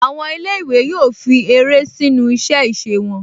Àwọn ilé-ìwé yóò fi eré sínu iṣẹ́-ìse wọn